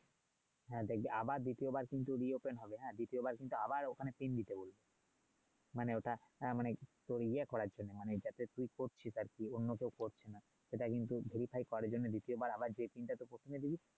হ্যাঁ দেখবি আবার দ্বিতীয়বার কিন্তু দেওয়া হবে হ্যাঁ দ্বিতীয়বার কিন্তু আবার ওখানে দিতে বলছে মানে ওটা হ্যাঁ মানে তুই ইয়ে করার জন্য মানে এটা তুই এটা কি করছিস মানে উন্নত করছিস সেটা ‍কিন্তু করার জন্য দ্বিতীয়বার আবার যে টা তুই প্রথমে দিবি